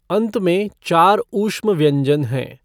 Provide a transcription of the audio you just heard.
अन्त में चार ऊष्म व्यञ्जन हैं।